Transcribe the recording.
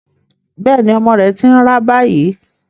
Bẹ́ẹ̀ ni, ọmọ rẹ̀ ti ń rá báyìí.